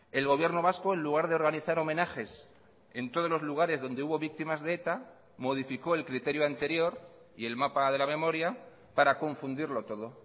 el gobierno vasco en lugar de organizar homenajes en todos los lugares donde hubo víctimas de eta modificó el criterio anterior y el mapa de la memoria para confundirlo todo